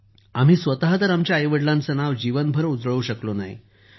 आम्ही आमच्या आईवडिलांचं नाव तर जीवनभर उजळवू शकलो नाही